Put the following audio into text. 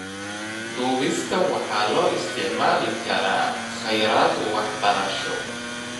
Duubista waxaa loo isticmaali karaa kheyraad waxbarasho.